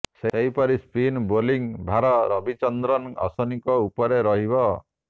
ସେହିପରି spin bowling ଭାର ରବିଚନ୍ଦ୍ରନ ଅଶ୍ୱିନୀଙ୍କ ଉପରେ ରହିବ